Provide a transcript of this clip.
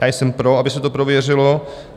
Já jsem pro, aby se to prověřilo.